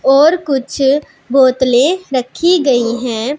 और कुछ बोतले रखी गई है।